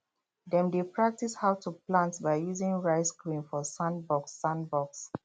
dem dey practise how to plant by using rice grain for sandbox sandbox